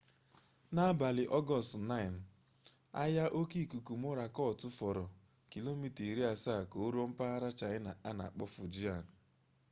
n'abalị ọgọọst 9 anya oke ikuku mọrakọt fọrọ kilomita iri asaa ka o ruo mpaghara chaịna a na-akpọ fujian